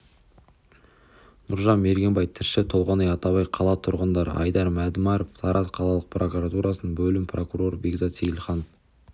нұржан мергенбай тілші толғанай атабай қала тұрғыны айдар мәдімаров тараз қалалық прокуратурасының бөлім прокуроры бекзат сеилханов